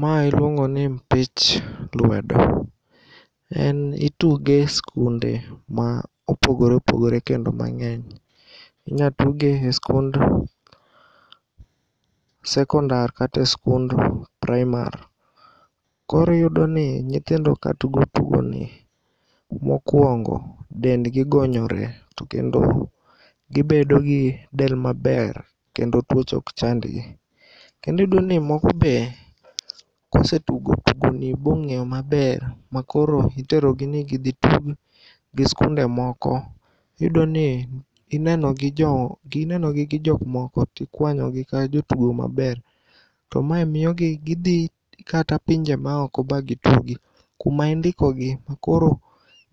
Ma iluongoni mpich lwedo. En ituge e skunde ma opogore opogore kendo mang'eny. Inyatuge e skund sekondar kata e skund primar. Koro iyudoni nyithindo katugo tugoni, mokuongo dendgi gonyore to kendo gibedo gi del maber kendo tuoche okchandgi. Kendo iyudoni moko bee kosetugo tugoni bong'eyo maber makoro iterogi nigidhi gitug gi skunde moko. Iyudoni inenogi gi jok moko tikwanyogi ka jotugo maber. To ma miyogi gidhii kata pinje maoko bagitugi kumaindikogi koro